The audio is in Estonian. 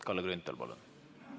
Kalle Grünthal, palun!